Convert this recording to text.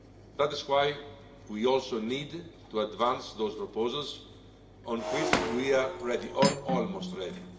That is why we also need to advance those proposals on which we are ready or almost ready.